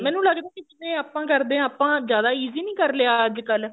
ਮੈਨੂੰ ਲੱਗਦਾ ਜਿਵੇਂ ਆਪਾਂ ਕਰਦੇ ਆ ਆਪਾਂ ਜਿਆਦਾ easy ਨੀ ਕਰ ਲਿਆ ਅੱਜਕਲ